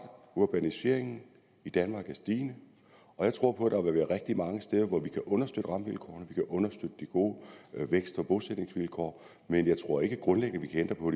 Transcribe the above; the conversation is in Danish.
urbaniseringen i danmark er stigende jeg tror der vil være rigtig mange steder hvor vi kan understøtte rammevilkårene vi kan understøtte de gode vækst og bosætningsvilkår men jeg tror ikke at vi grundlæggende kan ændre på